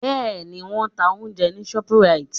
Bẹ́ẹ̀ni, wọ́n ń ta oúnjẹ ní Shoprite